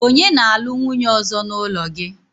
onye na-alu nwunye ozo n'ulo gi?